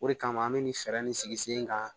O de kama an bɛ nin fɛɛrɛ nin sigi sen kan